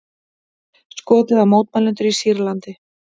Skotið á mótmælendur í Sýrlandi